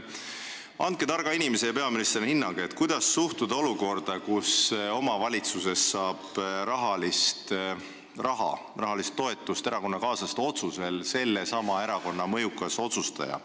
Andke targa inimesena ja peaministrina hinnang, kuidas suhtuda olukorda, kus omavalitsusest saab erakonnakaaslaste otsusel rahalist toetust sellesama erakonna mõjukas otsustaja.